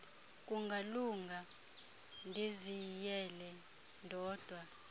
kungalunga ndiziyele ndodwa